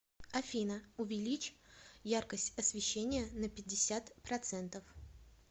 афина увеличь яркость освещения на пятьдесят процентов